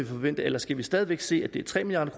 forvente eller skal vi stadig væk se at det er tre milliard